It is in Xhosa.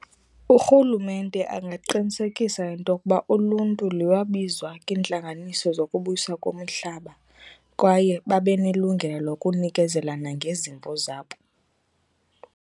Urhulumente angaqinisekisa intokuba uluntu liwabizwa kwiintlanganiso zokubuyiswa komihlaba kwaye babe nelungelo lokunikezela nangezimvo zabo.